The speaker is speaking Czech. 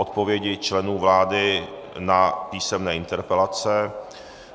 Odpovědi členů vlády na písemné interpelace